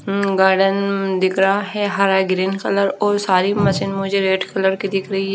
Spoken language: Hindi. अं गार्डन दिख रहा है हरा ग्रीन कलर और सारी मशीन मुझे रेड कलर की दिख रही--